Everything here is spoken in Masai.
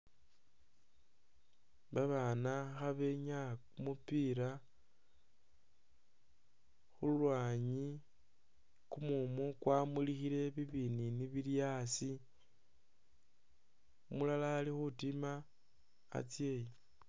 Babaana khabenyaa kumupila khu lwaanyi, kumumu kwamulikhile bibiniini bili asi, umulala ali khutima atsye.